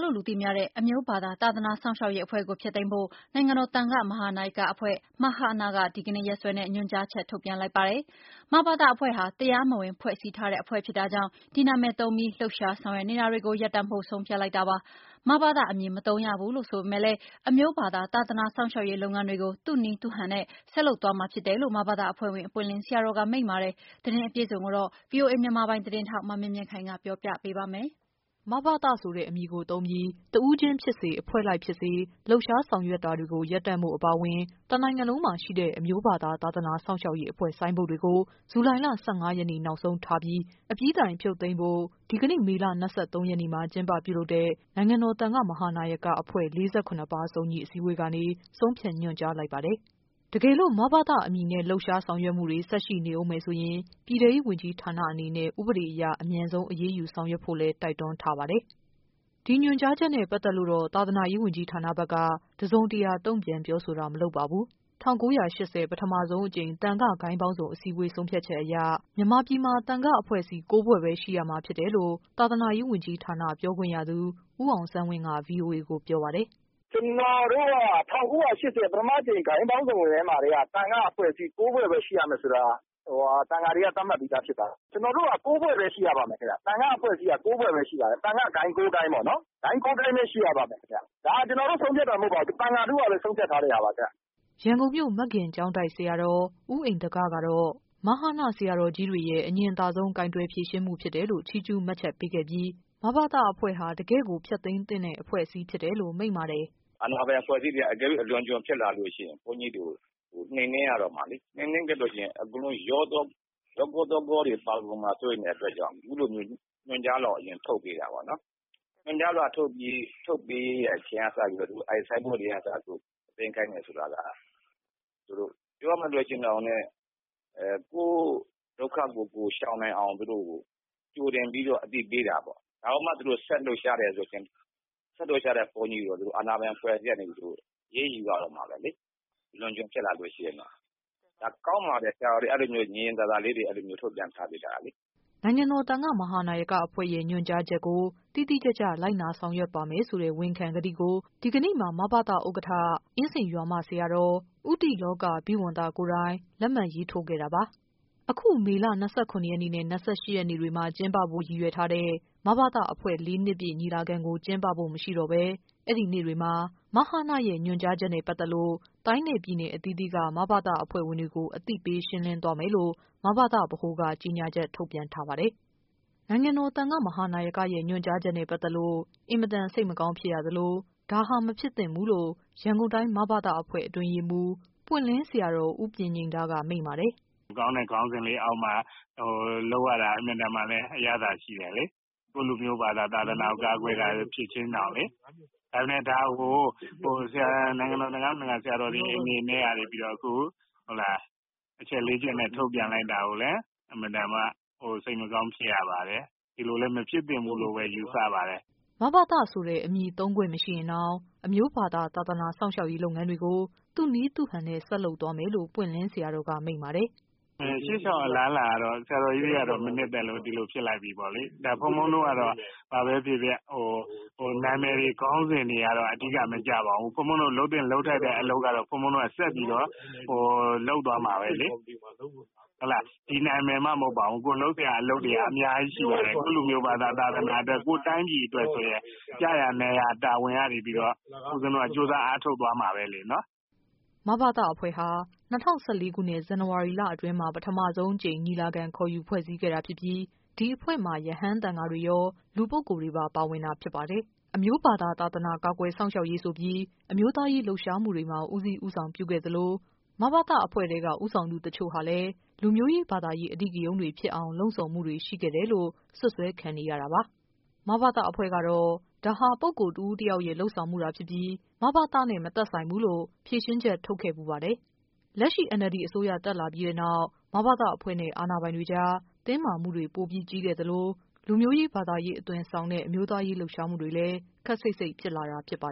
လို့ လူသိများတဲ့ အမျိုးဘာသာသာသနာစောင့်ရှောက်ရေး အဖွဲ့ကို ဖျက်သိမ်းဖို့ နိုင်ငံတော် သံဃ မဟာနာယကအဖွဲ့ က ဒီကနေ့ရက်စွဲနဲ့ ညွှန်ကြားချက် ထုတ်ပြန်လိုက်ပါတယ်။ မဘသအဖွဲ့ ဟာ တရားမဝင်ဖွဲ့စည်းထားတဲ့ အဖွဲ့ဖြစ်တာကြောင့် ဒီနာမည်သုံးပြီး လှုပ်ရှားဆောင်ရွက်နေတာတွေကို ရပ် တန့်ဖို့ ဆုံးဖြတ်လိုက်တာပါ။ မဘသအမည် မသုံးရဘူး ဆိုပေမယ့်လည်း အမျိုးဘာသာသာသနာ စောင့် ရှောက်ရေး လုပ်ငန်းတွေကို သူ့နည်းသူ့ဟန်နဲ့ ဆက်လုပ်သွားမှာဖြစ်တယ်လို့ မဘသ အဖွဲ့ဝင် ပွင့်လင်း ဆရာတော်က မိန့်ပါတယ်။သတင်းအပြည့်အစုံကိုတော့ ဗွီအိုအေ မြန်မာပိုင်း သတင်းထောက် မမြင့် မြင့်ခိုင်က ပြောပြပေးပါမယ်။ “မဘသ” ဆိုတဲ့ အမည်သုံးပြီး တဦးချင်းဖြစ်စေ၊ အဖွဲ့လိုက်ဖြစ်စေ လှုပ်ရှားဆောင်ရွက် နေတာတွေကို ရပ်တန့်ဖို့ အပါအဝင် တနိုင်ငံလုံးမှာရှိတဲ့ အမျိုးဘာသာ သာသနာစောင့်ရှောက်ရေး အဖွဲ့ ဆိုင်းဘုတ် တွေကို ဇူလိုင်လ ၁၅ရက်နေ့ နောက်ဆုံးထားပြီး အပြီးတိုင် ဖြုတ်သိမ်းဖို့ ဒီကနေ့ မေလ ၂၃ရက်နေ့မှာ ကျင်းပပြုလုပ်တဲ့ နိုင်ငံတော် သံဃမဟာနာယကအဖွဲ့ ၄၇ပါး စုံညီအစည်းအဝေးကနေ ဆုံးဖြတ်ညွှန် ကြားလိုက်ပါတယ်။ တကယ်လို့ မဘသ အမည်နဲ့ လှုပ်ရှားဆောင်ရွက်မှုတွေ ဆက်ရှိနေဦးမယ်ဆိုရင် ပြည်ထဲရေးဝန်ကြီး ဌာနအနေနဲ့ ဥပဒေအရ အမြန်ဆုံး အရေးယူဆောင်ရွက်ဖို့လည်း တိုက်တွန်းထားပါတယ်။ ဒီညွှန်ကြားချက်နဲ့ ပတ်သက်လို့တော့ သာသနာရေးဝန်ကြီးဌာနဖက်က တစုံတရာ တုံ့ပြန်ပြောဆိုတာ မလုပ်ပါဘူး။ ၁၉၈၀ ပထမအကြိမ် သံဃဂိုဏ်းပေါင်းစုံအစည်းအဝေး ဆုံးဖြတ်ချက်အရ မြန်မာပြည်မှာ သံဃအဖွဲ့အစည်း ၉ဖွဲ့ ပဲရှိရမှာဖြစ်တယ်လို့တော့ သာသနာရေးဝန်ကြီးဌာန ပြောခွင့်ရသူ ဦးအောင်ဆန်း ဝင်းက ဗွီအိုအေကို ပြောပါတယ်။ “ကျနော်တို့က ၁၉၈၀ ပထမအကြိမ် သံဃဂိုဏ်းပေါင်းစုံအစည်းအဝေးထဲမှာကတည်းက သံဃအဖွဲ့အစည်း ၉ ဖွဲ့ပဲရှိရမယ်လို့ သံဃာတွေက သတ်မှတ်ပြီးသားဖြစ်ပါတယ်။ ကျနော်တို့က ၉ ဖွဲ့ပဲရှိရမယ်၊ သံဃ အဖွဲ့အစည်း ၉ ဖွဲ့ပဲရှိပါမယ်။ သံဃဂိုဏ်း ၉ ခုပဲပေါ့နော် ဒါကကျနော်တို့ဆုံးဖြတ်တာမဟုတ်ပါဘူး။ သံဃာထုက ဆုံးဖြတ်တာပါခင်ဗျ။” ရန်ကုန်မြို့ မဂ္ဂကျောက်တိုက် ဆရာတော် ဦးဣန္ဒက ကတော့ မဟန ဆရာတော်ကြီးတွေရဲ့ အညင်သာ ဆုံး ကိုင်တွယ်ဖြေရှင်းမှုဖြစ်တယ်လို့ ချီးကျူးမှတ်ချက်ပေးခဲ့ပြီး မဘသ အဖွဲ့ဟာ တကယ်ကို ဖျက်သိမ်း သင့်တဲ့ အဖွဲ့အစည်းဖြစ်တယ်လို့ မိန့်ပါတယ်။ “အာဏာပိုင်အဖွဲ့အစည်းတွေက တကယ်လို့ အလွန်အကျွံဖြစ်လာရင် ဘုန်းကြီးတွေကို နှိမ်နင်းရတော့မှာလေ။ နှိမ်နင်းလာရင် အကုန်လုံး အရောရော အနှောနှောပါလာနိုင်တဲ့ အတွက်ကြောင့် အခုလိုမျိုးညွှန်ကြားလွှာ ကိုထုတ်ပေးတာပေ့ါနော်။ အခုလိုညွန်ကြားလွှာထုတ်တဲ့အချိန်ကစပြီးတော့ သူတို့ဆိုင်းဘုတ်တွေကအစ သိမ်းခိုင်းမယ်ဆိုတာက ပြောရမယ်ဆိုရင် ကိုယ့်ဒုက္ခကိုရှောင်နိုင်အောင် သူတို့ကို ကြိုတင်ပြီးတော့ အသိပေးတာပေါ့နော် ။ ဒါကိုမှ သူတို့ဆက်လှုပ်ရှားတယ်ဆိုရင် ဆက်လှုပ်ရှားတဲ့ဘုန်းကြီးတွေကို အာဏာပိုင်အဖွဲ့အစည်းကနေပြီးတော့ အရေးယူရတော့မှာပဲ အလွန်အကျွံဖြစ်လာရင်တော့ ။ ကောင်းပါတယ် အခုလိုညင်ညင်သာသာ ထုတ်ပြန်ထားပေးတာကလေ။” နိုင်ငံတော် သံဃမဟာနာယက အဖွဲ့ရဲ့ ညွှန်ကြားချက်ကို တိတိကျကျ လိုက်နာဆောင်ရွက်ပါမယ်ဆိုတဲ့ ဝန်ခံကတိကို ဒီကနေ့မှာ မဘသ ဥက္ကဌ အင်းစိန်ရွာမ ဆရာတော် ဦးတိလောဘိဝံသ ကိုယ်တိုင် လက် မှတ်ရေးထိုးခဲ့တာပါ။ အခု မေလ ၂၇ရက်နဲ့ ၂၈ရက်နေ့တွေမှာ ကျင်းပဖို့ ရည်ရွယ်ထားတဲ့ မဘသ အဖွဲ့ ၄နှစ်ပြည့် ညီလာခံကို ကျင်းပဖို့ မရှိတော့ဘဲ အဲ့ဒီနေ့တွေမှာ မဟနရဲ့ ညွှန်ကြားချက်နဲ့ ပတ်သက်လို့ တိုင်းနဲ့ ပြည်နယ်အသီးသီးက မဘသအဖွဲ့ဝင်တွေကို အသိပေးရှင်းလင်းသွားမယ်လို့ မဘသ က ကြေညာချက် ထုတ်ပြန်ထားပါတယ်။ နိုင်ငံတော် သံဃမဟာနာယကအဖွဲ့ရဲ့ ညွှန်ကြားချက်နဲ့ ပတ်သက်လို့ အင်မတန် စိတ်မကောင်း ဖြစ်ရ သလို ဒါဟာ မဖြစ်သင့်ဘူးလို့ ရန်ကုန်တိုင်း မဘသအဖွဲ့ အတွင်းရေးမှူး ပွင့်လင်းဆရာတော် ဦးပညိန္ဒက မိန့်ပါတယ်။ “ကောင်းတဲ့ခေါင်းစဉ်လေးအောက်မှာလုပ်ရတာ အင်မတန်မှ အရသာရှိတယ်လေ။ ကိုယ့်လူမျိုးဘာသာ သာသနာကို ကာကွယ်တာကိုလေ။ ဒါကို နိုင်ငံတော် သံဃမဟာနာယက ဆရာတော်တွေအနေနဲ့ အခုအချက် ၄ ချက်နဲ့ ထုတ်ပြန် လိုက်တာကိုလည်း အင်မတန်မှ စိတ်မကောင်းဖြစ်ရပါတယ်။ ဒီလိုလည်းမဖြစ်သင့်ဘူးလို့လည်း ယူဆပါတယ်။” မဘသ အမည်သုံးခွင့်မရှိရင်တောင် အမျိုးဘာသာ သာသနာ စောင့်ရှောက်ရေးလုပ်ငန်းတွေကို သူ့ နည်း သူ့ဟန်နဲ့ ဆက်လုပ်သွားမယ်လို့ ပွင့်လင်းဆရာတော်က မိန့်ပါတယ်။ “ရှေ့လျှောက်အလားလာတွေကတော့ ဆရာတော်ကြီးတို့က မနှစ်သက်လို့ ဒီလိုဖြစ်လိုက်ပြီပေါ့လေ ။ ဘုန်းဘုန်းတို့ကတော့ ဘာပဲဖြစ်ဖြစ် နာမည်တွေခေါင်းစဉ်တွေကတော့ အဓိကမကျပါဘူး။ ဘုန်းဘုန်းတို့လုပ်သင့်လုပ်ထိုက်တဲ့အလုပ်တွေကတော့ ဆက်ပြီးတော့လုပ်သွားမှာပဲလေ။ ဒီနာမည်မှမဟုတ်ပါဘူး ကိုယ်လုပ်တဲ့အလုပ်တွေက အများကြီးရှိတယ်။ ကိုယ့်လူမျိုးဘာသာ၊ သာသနာအတွက် ၊ ကိုယ့်တိုင်းပြည်အတွက်ဆိုရင် ကျရာနေရာတာဝန်ကနေပြီးတော့ ကြိုးစားအားထုတ်သွားမှာပဲလေနော်။” မဘသအဖွဲ့ဟာ ၂၀၁၄ခုနှစ် ဇန်နဝါရီအတွင်းမှာ ပထမဆုံးအကြိမ် ညီလာခံခေါ်ယူ ဖွဲ့စည်းခဲ့တာဖြစ်ပြီး ဒီအဖွဲ့မှာ ရဟန်းသံဃာတွေရော၊ လူပုဂ္ဂိုလ်တွေပါ ပါဝင်တာဖြစ်ပါတယ်။ အမျိုးသာသာ သာသနာ ကာ ကွယ်စောင့်ရှောက်ရေးဆိုပြီး အမျိုးသားရေးလှုပ်ရှားမှုတွေမှာ ဦးစီး ဦးဆောင်ပြုခဲ့ပြီး မဘသအဖွဲ့ထဲက ဦးဆောင်သူတချို့ဟာ လူမျိုးရေး ဘာသာရေးအဓိကရုဏ်းတွေဖြစ်အောင် လှုံ့ဆော်မှုတွေရှိခဲ့တယ်လို့ စွပ်စွဲခံနေရတာပါ။ မဘသအဖွဲ့ကတော့ ဒါဟာ ပုဂ္ဂိုလ် တဦးတယောက်ချင်းရဲ့ လုပ်ဆောင်မှုသာဖြစ်ပြီး၊ မဘသနဲ့ မသက်ဆိုင်ဘူးလို့ ဖြေရှင်းချက် ထုတ်ခဲ့ဖူးပါတယ်။ လက်ရှိ NLD အစိုးရ တက်လာပြီးတဲ့နောက် မဘသအဖွဲ့နဲ့ အာဏာပိုင်တွေကြား တင်းမာမှုတွေ ပိုကြီးလာခဲ့သလို၊ လူမျိုးရေး၊ ဘာသာရေး အသွင် ဆောင်တဲ့ အမျိုးသားရေးလှုပ်ရှားမှုတွေလည်း ခပ်စိပ်စိပ်ဖြစ်လာတာ ဖြစ်ပါ